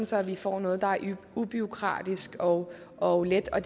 så vi får noget der er ubureaukratisk og og let og